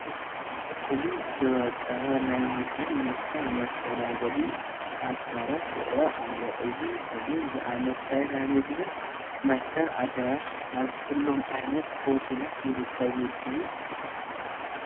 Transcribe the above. ብፍሉይ ዝወቀበ ናይ ምግብን መስተን መስተኣናገዲ ኣዳራሽ ይርአ ኣሎ፡፡ እዚ ከምዚ ዝኣምሰለ ናይ ምግብን መስተን ኣዳራሽ ኣብ ኩሎም ዓይነት ሆቴላት ይርከብ ድዩ?